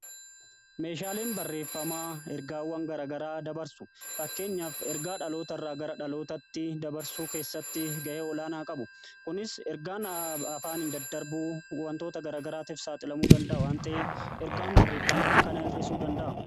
Meeshaalen barreeffamaa ergaawwan garagaraa dabarsu. Fakkeenyaaf ergaa dhaloota irraa gara dhalootatti dabarsuu keessatti ga'ee olaanaa qabu. Kunis ergaan afaaniin daddarbu wantoota gara garaatiif saaxilamuu danda'a waan ta'eef, ergaan barreeffamaa kana hir'isuu danda'a.